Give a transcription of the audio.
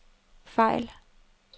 fejl